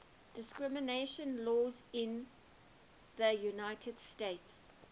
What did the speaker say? discrimination law in the united states